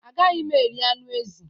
Agaghị m eri anụ ezi.